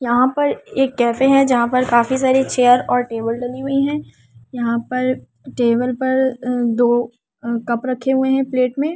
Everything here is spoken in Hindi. यहां पर एक कैफे है जहां पर काफी सारी चेयर और टेबल लगी हुई है यहां पर टेबल पर दो कप रखे हुए हैं प्लेट में--